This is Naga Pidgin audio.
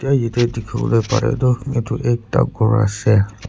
etu dikhiwole pare toh etu ekta ghor ase.